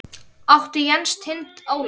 Áður átti Jens Tind Óla.